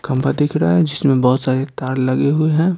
खंभा दिख रहा है जिसमें बहुत सारे तार लगे हुए हैं।